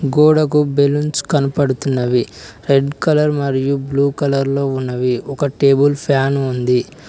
గోడకు బెలూన్స్ కనపడుతున్నవి red colour మరియు బ్లూ కలర్ లో ఉన్నవి ఒక టేబుల్ ఫ్యాన్ ఉంది.